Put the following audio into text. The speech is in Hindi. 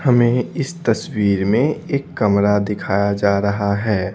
हमें इस तस्वीर में एक कमरा दिखाया जा रहा है।